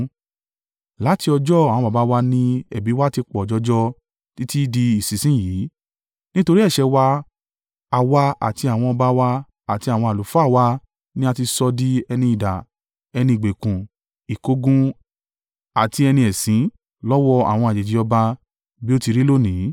Láti ọjọ́ àwọn baba wá ni ẹ̀bi wa ti pọ̀ jọjọ títí di ìsinsin yìí. Nítorí ẹ̀ṣẹ̀ wa, àwa àti àwọn ọba wa àti àwọn àlùfáà wa ni a ti sọ di ẹni idà, ẹni ìgbèkùn, ìkógun àti ẹni ẹ̀sín lọ́wọ́ àwọn àjèjì ọba, bí ó ti rí lónìí.